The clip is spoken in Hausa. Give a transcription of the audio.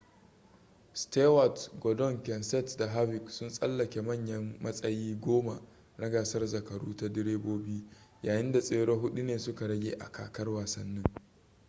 stewart gordon kenseth da harvick sun tsallake manyan matsayi goma na gasar zakaru ta direbobi yayin da tsere hudu ne suka rage a kakar wasannin